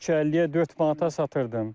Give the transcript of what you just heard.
350-yə 4 manata satırdım.